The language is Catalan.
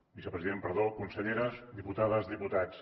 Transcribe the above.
vicepresident perdó conselleres diputades diputats